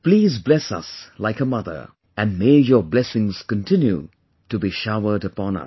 Please bless us like a mother and may your blessings continue on to be showered upon us